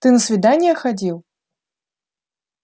ты на свидание ходил